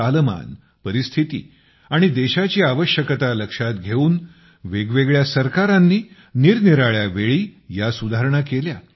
कालमान परिस्थिती आणि देशाची आवश्यकता लक्षात घेऊन वेगवेगळ्या सरकारांनी निरनिराळ्या वेळी ह्या सुधारणा केल्या